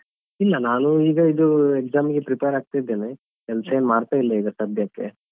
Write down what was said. ಇಲ್ಲಾ ನಾನು ಈಗ ಇದು exam ಗೆ prepare ಆಗ್ತಿದೇನೆ ಕೆಲ್ಸ ಏನ್ ಮಾಡ್ತಿಲ್ಲಾ ಸದ್ಯಕ್ಕೆ.